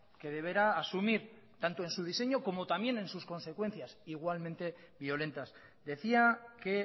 que deberá asumir tanto en su diseño como también en sus consecuencias igualmente violentas decía que